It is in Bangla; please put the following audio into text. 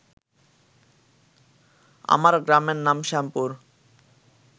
আমার গ্রামের নাম শ্যামপুর